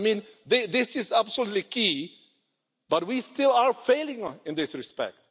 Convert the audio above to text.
I mean this is absolutely key but we still are failing in this respect.